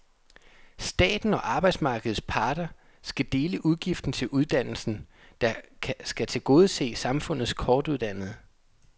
Staten og arbejdsmarkedets parter skal dele udgiften til uddannelsen, der skal tilgodese samfundets kortuddannede.